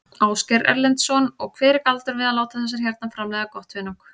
Ásgeir Erlendsson: Og hver er galdurinn við að láta þessar hérna framleiða gott hunang?